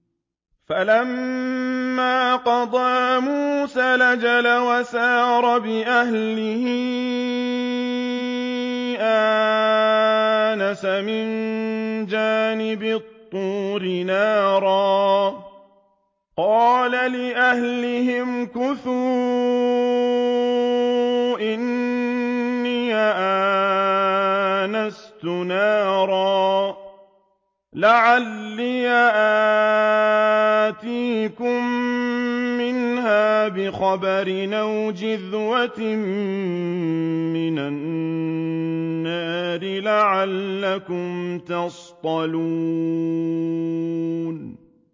۞ فَلَمَّا قَضَىٰ مُوسَى الْأَجَلَ وَسَارَ بِأَهْلِهِ آنَسَ مِن جَانِبِ الطُّورِ نَارًا قَالَ لِأَهْلِهِ امْكُثُوا إِنِّي آنَسْتُ نَارًا لَّعَلِّي آتِيكُم مِّنْهَا بِخَبَرٍ أَوْ جَذْوَةٍ مِّنَ النَّارِ لَعَلَّكُمْ تَصْطَلُونَ